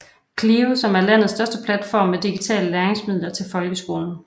CLIO som er landets største platform med digitale læringsmidler til folkeskolen